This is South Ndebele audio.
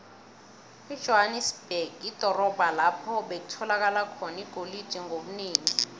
ijohanesberg lidorobho lapho bekutholakala khona igolide ngobunengi